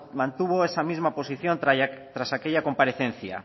mantuvo esa misma posición tras aquella comparecencia